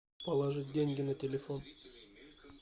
положи деньги на телефон